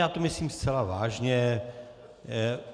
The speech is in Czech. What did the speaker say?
Já to myslím zcela vážně.